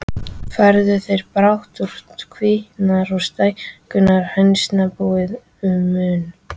Færðu þeir brátt út kvíarnar og stækkuðu hænsnabúið að mun.